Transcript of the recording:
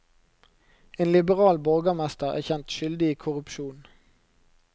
En liberal borgermester er kjent skyldig i korrupsjon.